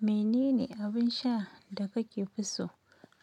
Menene abin sha da kake fi so?